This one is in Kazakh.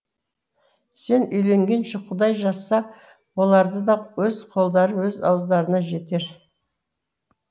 сен үйленгенше құдай жазса олардың да өз қолдары өз ауыздарына жетер